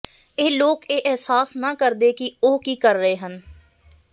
ਇਹ ਲੋਕ ਇਹ ਅਹਿਸਾਸ ਨਾ ਕਰਦੇ ਕਿ ਉਹ ਕੀ ਕਰ ਰਹੇ ਹਨ